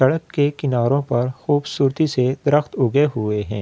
सड़क के किनारों पर खूबसूरती से दरख़्त उगे हुए हैं।